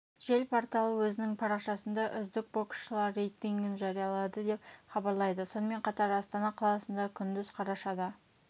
жел порталы өзінің парақшасында үздік боксшылар рейтингін жариялады деп хабарлайды сонымен қатар астана қаласында күндіз қарашада